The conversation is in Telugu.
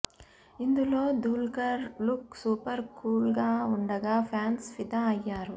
ఇందులో దుల్కర్ లుక్ సూపర్ కూల్గా ఉండగా ఫ్యాన్స్ ఫిదా అయ్యారు